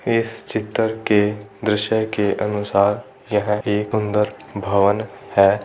इस चित्र के दृश्य के अनुसार यह एक अंदर भवन है।